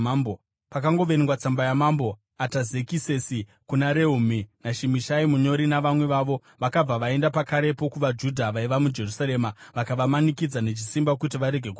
Pakangoverengwa tsamba yaMambo Atazekisesi kuna Rehumi naShimishai munyori navamwe vavo, vakabva vaenda pakarepo kuvaJudha vaiva muJerusarema vakavamanikidza nechisimba kuti varege kuvaka.